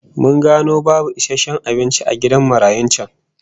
Mun gano babu isasshen abinci a gidan marayun can